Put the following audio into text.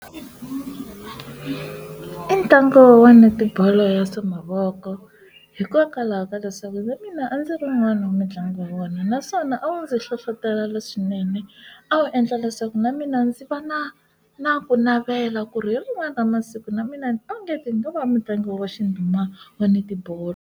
I ntlangu wa netibolo ya swa mavoko hikokwalaho ka leswaku na mina a ndzi ri n'wana wa mitlangu wa vona naswona a wu ndzi hlohlotela leswinene a wu endla leswaku na mina ndzi va na na ku navela ku ri hi rin'wani ra masiku na mina onge ni nga va mutlangi wo va xinduma wa netibolo.